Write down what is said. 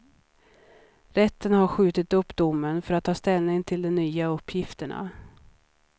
Rätten har skjutit upp domen för att ta ställning till de nya uppgifterna.